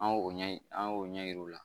An y'o ɲɛɲini an y'o ɲɛ yir'u la